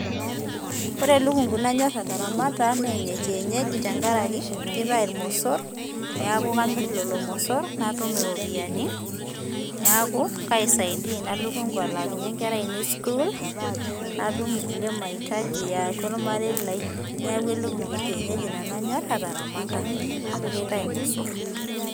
ore elukungu nanyorr ataramata na ene kienyeji tenkaraki kitayu ilmosor, niaku kamir lelo mosor natum iropiani, niaku kaisaidia ina lukungu alaakinyie inkera ainei sukul ,natum inkulie maitaji yatua olmarei lai, niaku elukungu ekienyeji nanu anyorr ataramata amu kitayu ilmosor.